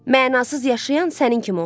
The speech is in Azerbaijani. Mənasıız yaşayan sənin kimi olar.